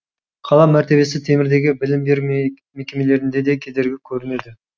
қала мәртебесі темірдегі білім беру мекемелеріне де кедергі көрінеді